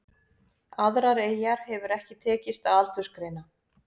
Aðrar eyjar hefur ekki tekist að aldursgreina.